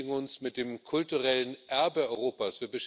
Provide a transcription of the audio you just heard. Wir beschäftigen uns mit dem kulturellen Erbe Europas.